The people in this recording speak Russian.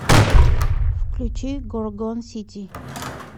включи горгон сити